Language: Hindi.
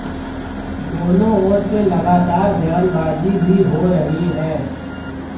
दोनों ओर से लगातार बयानबाजी भी हो रही है